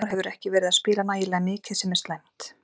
Hólmar hefur ekki verið að spila nægilega mikið sem er slæmt.